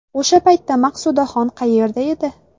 O‘sha paytda Maqsudaxon qayerda edi?